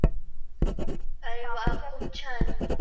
अरे व्हा खूप छान